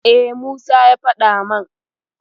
E, Musa ya faɗa min.